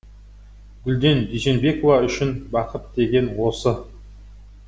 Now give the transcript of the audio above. гүлден дүйсенбекова үшін бақыт деген осы